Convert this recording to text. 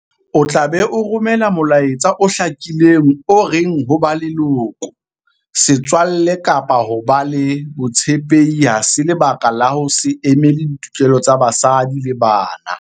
O tla be o romela molaetsa o hlakileng o reng ho ba leloko, setswalle kapa ho ba le botshepehi ha se lebaka la ho se emele ditokelo tsa basadi le bana.